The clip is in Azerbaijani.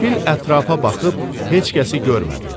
Fil ətrafa baxıb heç kəsi görmədi.